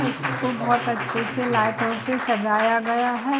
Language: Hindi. इसको बहुत अच्छे से लाइटो से सजाया गया है।